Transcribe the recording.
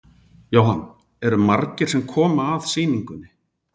Jóhann: Eru margir sem koma að sýningunni?